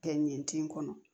Kɛ ɲɛti kɔnɔ